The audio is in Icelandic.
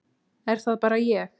Er það bara ég.